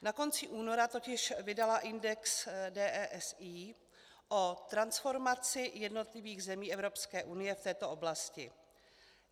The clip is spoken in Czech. Na konci února totiž vydala index DESI o transformaci jednotlivých zemí Evropské unie v této oblasti.